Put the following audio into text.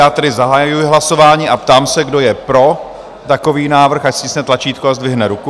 Já tedy zahajuji hlasování a ptám se, kdo je pro takový návrh, ať stiskne tlačítko a zdvihne ruku.